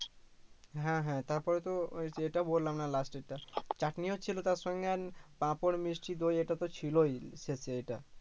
হ্যা হ্যা তারপরে তো ওই যেটা বললাম না last টা চাটনিও ছিলো তার সঙ্গে আর পাপড় মিষ্টি দই এটা তো ছিলোই শেষে এইটা